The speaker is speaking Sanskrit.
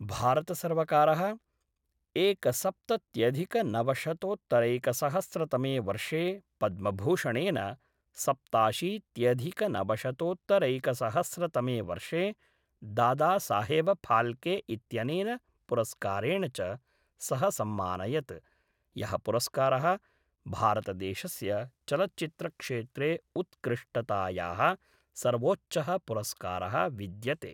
भारतसर्वकारः एकसप्तत्यधिकनवशतोत्तरैकसहस्रतमे वर्षे पद्मभूषणेन, सप्ताशीत्यधिकनवशतोतरैकसहस्रतमे वर्षे दादासाहेबफाल्के इत्यनेन पुरस्कारेण च सः सम्मानयत्, यः पुरस्कारः भारतदेशस्य चलच्चित्रक्षेत्रे उत्कृष्टतायाः सर्वोच्चः पुरस्कारः विद्यते।